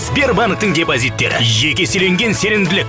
сбербанктің депозиттері екі еселенген сенімділік